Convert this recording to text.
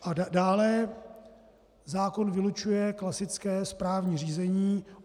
A dále zákon vylučuje klasické správní řízení.